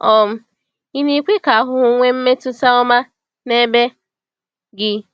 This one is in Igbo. um Ì na-ekwe ka ahụhụ nwee mmetụta ọma n’ebe gị?